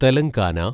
Telangana